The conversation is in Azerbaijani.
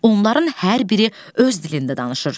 Onların hər biri öz dilində danışır.